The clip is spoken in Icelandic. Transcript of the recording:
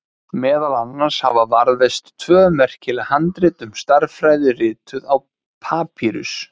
Meðal annars hafa varðveist tvö merkileg handrit um stærðfræði, rituð á papýrus.